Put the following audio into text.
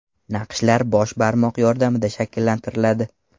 Naqshlar bosh barmoq yordamida shakllantiriladi.